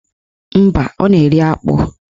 Mba, ọ na-eri akpụ